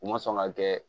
U ma sɔn ka kɛ